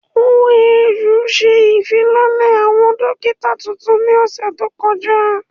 OAU se ìfilọ́lẹ̀ àwọn dókítà tuntun ní ọ̀sẹ̀ tó kọjá